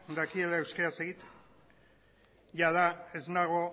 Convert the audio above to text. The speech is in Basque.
dakiela euskaraz egiten jada ez nago